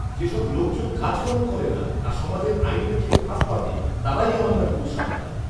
যেসব লোকজন কাজকর্ম করে না আর সমাজের আইন দেখিয়ে ফাঁদ পাতে, তারাই আমার নামে কুৎসা রটায়।